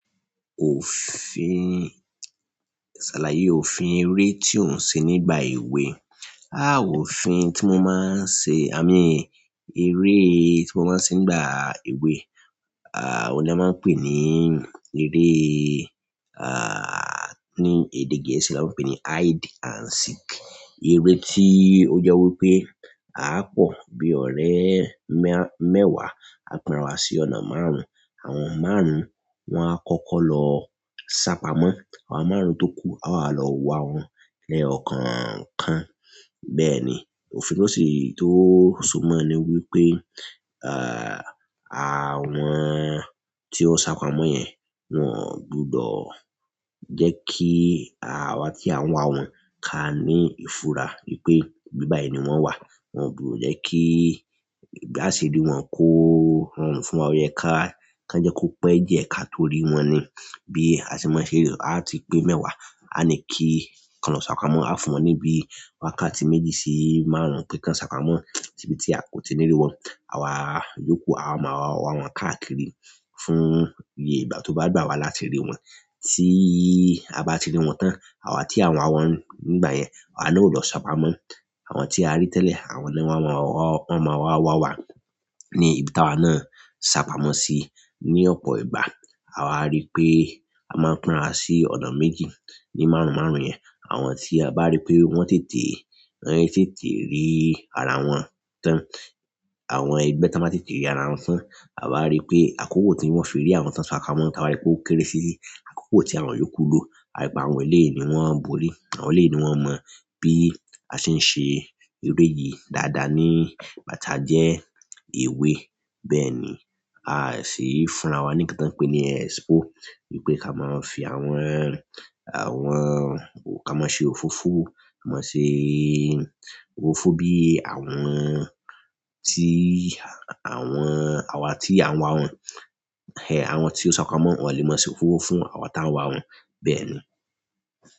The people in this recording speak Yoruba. Ṣàlàyé òfin ere to n ṣe nígbà ewe òfin tí mo máa ń ṣe eré tí mo máa ń ṣe nígbà èwe, oun la máa ń pè ní eré ní èdè Gẹ̀ẹ́sì la máa ń pè ní hide and seek. Eré tí ó jẹ wí pé, a á pọ̀ bí ọ̀rẹ́ mẹ́wàá, a pínra wa sí ọ̀nà márùn-ún. Àwọn márùn-ún, wọ́n á kọ́kọ́ lọ sápamọ́. Àwọn márùn-ún tó kú, a wá lọ wá wọn ní ẹyọkọọkan. Bẹ́ẹ̀ ni, òfin tó sì tó súnmọ́ ni wí pé, àwọn tí wọ́n sápamọ́ yẹn, wọ́n ò gbudọ̀ jẹ́ kí àwa tí à ń wá wọn ká ní ìfura wípé ibí bàyi ni wọ́n wà. Wọn ò gbudọ̀ jẹ́ kí bí a ṣe rí wọn kó rọrùn fún wa o yẹ ká kan jẹ́ kó pẹ́ diẹ ká tó rí wọn ni. Bí a ṣe máa ń ṣe rí, a ti pé mẹ́wàá, a ní kí kan lọ sápamọ́, a fún wọn níbí wákàtí méjì sí márùn-ún pé kan sápamọ́ ibi tí a kò tí ì ní rí wọn. Àwa yòókù, àwa máa wá wọn káàkiri fún iye ìgbà tó bá gbà wá láti rí wọn. Ti a ba ti rí wọn tan, àwa ti a n wa wọn nígbà yẹn, àwa na o lọ sapamọ àwọn tí a rí tẹ́lẹ̀, àwọn náà wọ́n máa wá wá ní ibi tí àwa náà sápamọ́ sí ní ọ̀pọ̀ ìgbà. À wa rí pé a máa ń pínra sí ọ̀nà méjì ní márùn-ún márùn-ún yẹn. Àwọn tí a bá rí pé wọ́n tètè, wọn tètè rí ara wọn tán. Àwọn ẹgbẹ́ tán bá tètè rí ara wọn tán, à wa rí pé àkókò tí wọ́n fi rí ara wọn tán sápamọ́, táa ba rí pé ó kéré sí àkókò tí àwọn yòókù lò. A rí pé àwọn eléyìí ni wọ́n borí, àwọn eléyìí ni wọ́n mọ̀ bí a ṣe ń ṣe eré yìí dáadáa nígbà tá jẹ́ èwe. Bẹ́ẹ̀ ni, a sì fúnra wa ní nkan tàn pé ní expo wípé ká máa fi àwọn, àwọn, ká máa ṣe òfófó, ká máa ṣe òfófó bí àwọn tí àwọn, àwa tí à ń wá wọn, àwọn tí ó sápamọ́, wọ́n lè máa ṣe òfófó fún àwa tá ń wá wọn. Bẹ́ẹ̀ ni.